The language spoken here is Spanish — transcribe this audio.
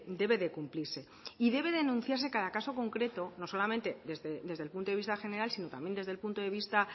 debe de cumplirse y debe denunciarse cada caso concreto no solamente desde el punto de vista general sino también desde el punto de vista